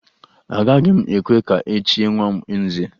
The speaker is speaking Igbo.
Agaghị m ekwe ka e chie nwa m nze